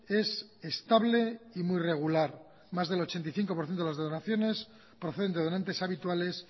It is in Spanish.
es estable y muy regular más del ochenta y cinco por ciento de las donaciones proceden de donantes habituales